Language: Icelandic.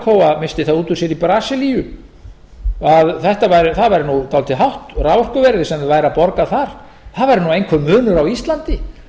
það út úr sér í brasilíu að það árið nú dálítið hátt raforkuverðið sem þeir væru að borga þar það væri nú einhver munur á íslandi